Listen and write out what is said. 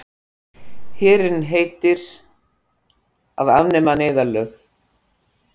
Herinn heitir að afnema neyðarlög